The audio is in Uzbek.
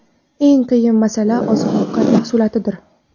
Eng qiyin masala oziq ovqat mahsulotlaridir.